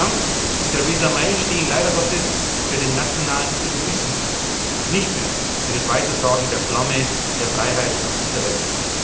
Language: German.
Donald Trump und Theresa May stehen leider Gottes für den nationalen Egoismus und nicht mehr für das Weitertragen der Flamme der Freiheit auf dieser Welt.